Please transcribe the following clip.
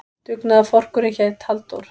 Dugnaðarforkurinn hét Halldór.